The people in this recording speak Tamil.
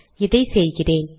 இதை செய்கிறேன்